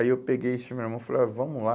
Aí eu peguei esse meu irmão e falei, ó, vamos lá.